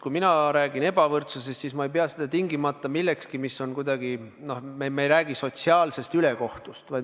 Kui mina räägin ebavõrdsusest, siis ma ei pea seda tingimata millekski, mis on kuidagi, noh, sotsiaalselt ülekohtune.